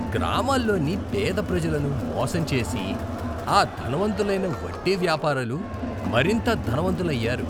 గ్రామాల్లోని పేద ప్రజలను మోసం చేసి ఆ ధనవంతులైన వడ్డీ వ్యాపారులు మరింత ధనవంతులయ్యారు.